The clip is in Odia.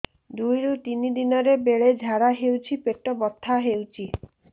ଦୁଇରୁ ତିନି ଦିନରେ ବେଳେ ଝାଡ଼ା ହେଉଛି ପେଟ ବଥା ହେଉଛି